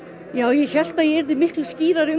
ég hélt að ég yrði miklu skýrari